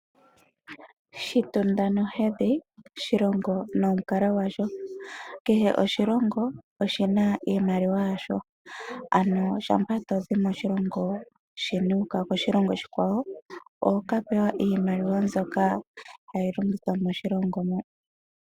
Shitunda nohedhi, shilongo nomukalo gwasho. Kehe oshilongo oshi na iimaliwa yasho. Shampa to zi moshilongo sheni wu ka koshilongo shilwe, oho ka pewa iimaliwa mbyoka hayi longithwa moshilongo mo.